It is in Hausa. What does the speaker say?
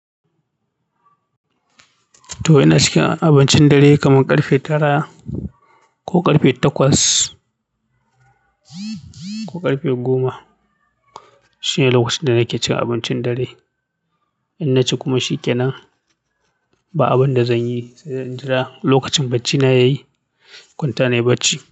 To ina cikin abincin dare kamar ƙarfe tara ko ƙarfe takwas ko ƙarfe goma. Shine lokacin da nake cin abincin dare. In naci kuma shike nan, ba abin da zanyi sai in jira lokacin baccina ya yi. Kwanta nayi bacci.